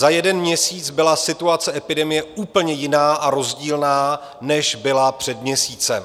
Za jeden měsíc byla situace epidemie úplně jiná a rozdílná, než byla před měsícem.